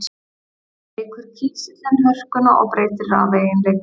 Þannig eykur kísillinn hörkuna og breytir rafeiginleikum.